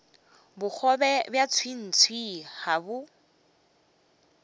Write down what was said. bogobe bja tswiitswii ga bo